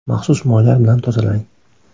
Maxsus moylar bilan tozalang.